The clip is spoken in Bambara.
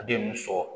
A den mun sɔrɔ